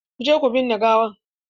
Ku je ku binne gawan!